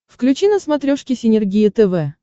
включи на смотрешке синергия тв